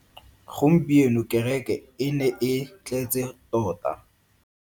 Gompieno kereke e ne e tletse tota.